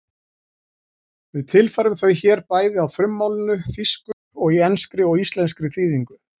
Við tilfærum þau hér bæði á frummálinu, þýsku, og í enskri og íslenskri þýðingu: